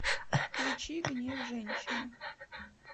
включи гнев женщины